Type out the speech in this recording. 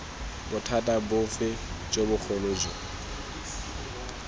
bothata bofe jo bogolo jo